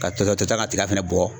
Ka tɔ tɔ tɔ ta ka tiga fɛnɛ bɔ